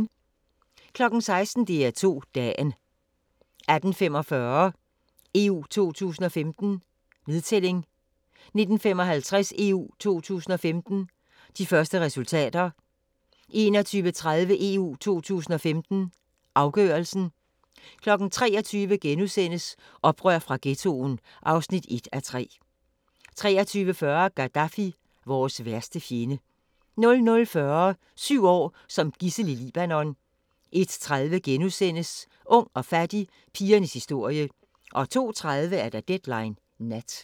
16:00: DR2 Dagen 18:45: EU 2015: Nedtælling 19:55: EU 2015: De første resultater 21:30: EU 2015: Afgørelsen 23:00: Oprør fra Ghettoen (1:3)* 23:40: Gaddafi – vores værste fjende 00:40: Syv år som gidsel i Libanon 01:30: Ung og fattig – pigernes historie * 02:30: Deadline Nat